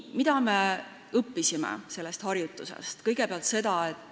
Mida me sellest harjutusest õppisime?